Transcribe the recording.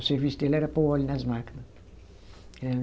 O serviço dele era pôr óleo nas máquina.